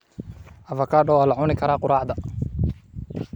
Avocado waa la cuni karaa quraacda.